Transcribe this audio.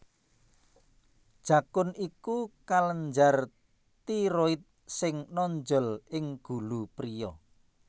Jakun iku kelenjar tiroid sing nonjol ing gulu priya